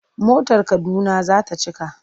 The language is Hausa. Motar Kaduna za ta cika.